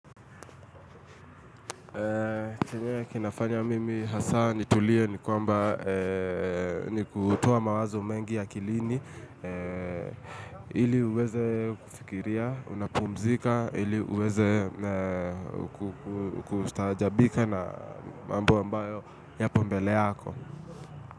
Chenye kinafanya mimi hasa nitulie ni kwamba ni kutuoa mawazo mengi akilini ili uweze kufikiria, unapumzika, ili uweze kustajabika na mambo ambayo yapo mbele yako.